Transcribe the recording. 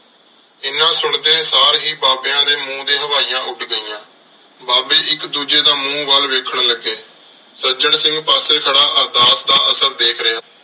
ਐਨਾ ਸੁਣਦੇ ਸਾਰ ਹੀ ਬਾਬਿਆਂ ਦੇ ਮੂੰਹ ਤੇ ਹਵਾਈਆਂ ਉੱਡ ਗਈਆਂ। ਬਾਬੇ ਇੱਕ ਦੂਜੇ ਦਾ ਮੂੰਹ ਵੱਲ ਵੇਖਣ ਲੱਗੇ। ਸੱਜਣ ਸਿੰਘ ਪਾਸੇ ਖੜ੍ਹਾ ਅਰਦਾਸ ਦਾ ਅਸਰ ਦੇਖ ਰਿਹਾ ਸੀ।